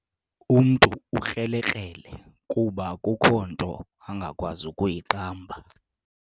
Umntu ukrelekrele kuba akukho nto angakwazi kuyiqamba.